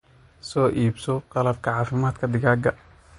Soo iibso qalabka caafimaadka digaaga.